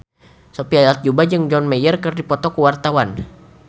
Sophia Latjuba jeung John Mayer keur dipoto ku wartawan